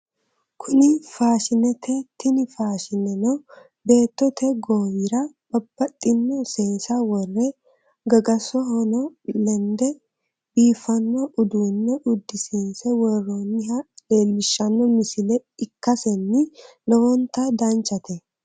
Kuni faashinete tini faashineno beettote goowura Babbaxxino seesa worre gagasohono lende biifanno uduunne uddisiinse worroonniha leellishshanno misile ikkasenni lowonta danchate